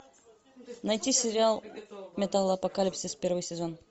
найти сериал металлопокалипсис первый сезон